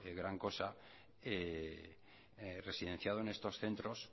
gran cosa residenciado en estos centros